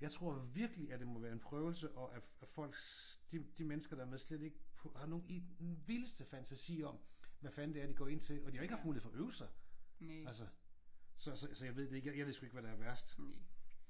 Jeg tror virkelig at det må være en prøvelse og at folk de de mennesker der er med slet ikke har nogen vildeste fantasi om hvad fanden det er de går ind til. Og de har ikke haft mulighed for at øve sig altså. Så så så jeg ved det ikke. Jeg ved sgu ikke hvad der er værst.